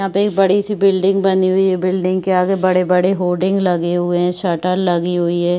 यहाँ पे एक बड़ी सी बिल्डिंग बनी हुई है। बिल्डिंग के आगे बड़े-बड़े होलडिंग लगे हुए है शटर लगे हुई है।